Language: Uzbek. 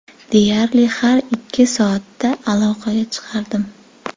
Deyarli har ikki soatda aloqaga chiqardim.